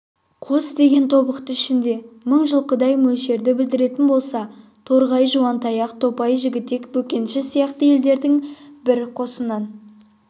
қос деген тобықты ішінде мың жылқыдай мөлшерді білдіретін болса торғай жуантаяқ топай жігітек бөкенші сияқты елдердің бір қосынан